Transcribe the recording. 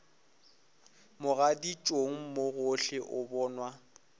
mogaditšong mo gohle o bonwa